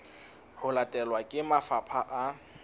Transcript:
ho latelwa ke mafapha a